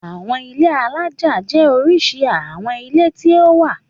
Àwọn ilé alájà jẹ́ oríṣi àwọn ilé tí ó wà.